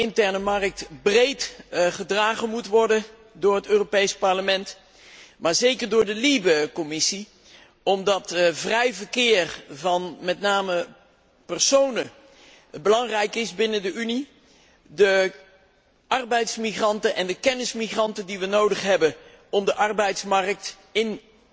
Ik denk dat de interne markt breed gedragen moet worden door het Europees Parlement, maar zeker door de Commissie burgerlijke vrijheden, omdat het vrije verkeer van met name personen belangrijk is binnen de Unie, van de arbeidsmigranten en de kennismigranten die wij nodig hebben om de arbeidsmarkt in